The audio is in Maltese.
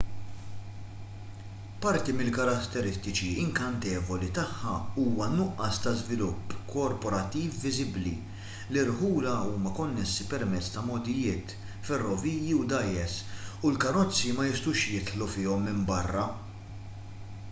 parti mill-karetteristiċi inkantevoli tagħha huwa n-nuqqas ta' żvilupp korporattiv viżibbli l-irħula huma konnessi permezz ta' mogħdijiet ferroviji u dgħajjes u l-karozzi ma jistgħux jidħlu fihom minn barra